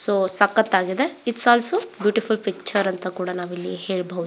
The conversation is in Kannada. ಸೊ ಸಕ್ಕತಾಗಿದೆ ಇಟ್ಸ್ ಆಲ್ಸೋ ಬೀಟಿಫುಲ್ಲ್ ಪಿಕ್ಚರ್ ಅಂತ ಕೂಡ ನಾವು ಹೇಳಬಹುದು.